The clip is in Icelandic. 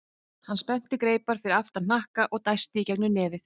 Hann spennti greipar fyrir aftan hnakka og dæsti í gegnum nefið.